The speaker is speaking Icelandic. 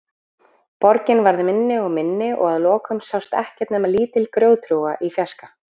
Borgin varð minni og minni og að lokum sást ekkert nema lítil grjóthrúga í fjarska.